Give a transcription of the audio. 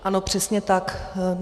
Ano, přesně tak.